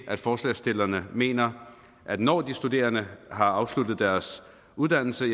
forslagsstillerne mener at når de studerende har afsluttet deres uddannelse